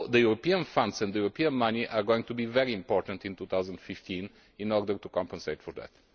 The European funds and European money are going to be very important in 2015 in order to compensate for that.